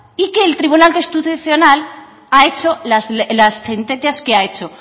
y que el tribunal constitucional ha hecho las sentencias que ha hecho